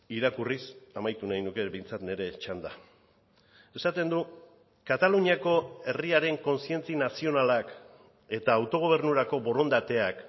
irakurriz amaitu nahi nuke behintzat nire txanda esaten du kataluniako herriaren kontzientzia nazionalak eta autogobernurako borondateak